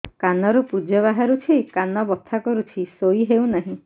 କାନ ରୁ ପୂଜ ବାହାରୁଛି କାନ ବଥା କରୁଛି ଶୋଇ ହେଉନାହିଁ